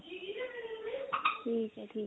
ਠੀਕ ਐ ਠੀਕ ਐ